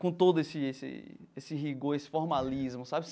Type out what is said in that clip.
com todo esse esse esse rigor, esse formalismo, sabe?